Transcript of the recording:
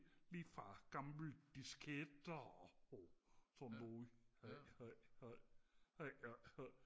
lige fra gamle disketter og sådan noget